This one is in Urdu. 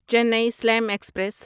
چینی سلیم ایکسپریس